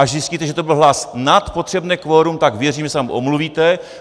Až zjistíte, že to byl hlas nad potřebné kvorum, tak věřím, že se nám omluvíte.